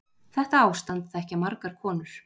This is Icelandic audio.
Þetta ástand þekkja margar konur